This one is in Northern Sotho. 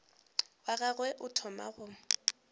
wa gagwe o thoma go